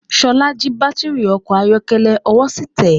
Ṣọlá jí baátìrì ọkọ̀ ayọ́kẹ́lẹ́, ọwọ́ sì tẹ́.